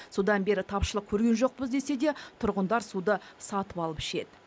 содан бері тапшылық көрген жоқпыз десе де тұрғындар суды сатып алып ішеді